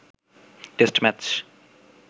test match